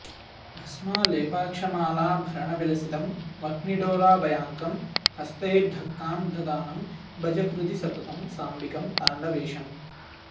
भस्मालेपाक्षमालाभरणविलसितं वह्निडोलाभयाङ्कं हस्तैर्ढक्कां दधानं भज हृदि सततं साम्बिकं ताण्डवेशम्